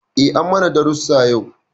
Eh an mana darasu yau.